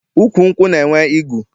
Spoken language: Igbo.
Ukwu nkwụ na-enwe igu.